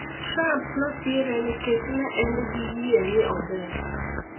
Trump nosire nikech ne en gi yie ni ober.